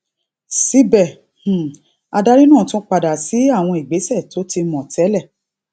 síbè um adarí náà tún padà sí àwọn ìgbesẹ tó ti mò télè